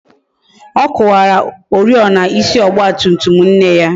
Ọ kuwara oriọna ịsị Ọgba tum tum nne ya